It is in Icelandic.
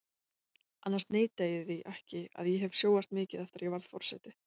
Annars neita ég því ekki að ég hef sjóast mikið eftir að ég varð forseti.